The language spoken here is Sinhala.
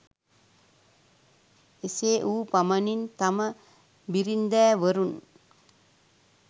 එසේ වූ පමණින් තම බිරින්දෑවරුන්